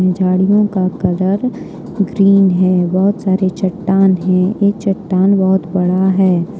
झाड़ियों का colour green है बहोत सारे चट्टान है एक चट्टान बहोत बड़ा है।